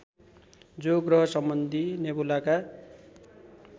जो ग्रहसम्बन्धी नेबुलाका